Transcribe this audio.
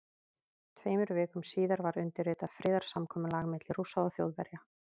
Tveimur vikum síðar var undirritað friðarsamkomulag milli Rússa og Þjóðverja.